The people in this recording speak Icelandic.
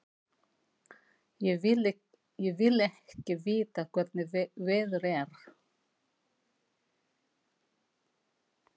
Ég vil ekki vita hvernig veður er.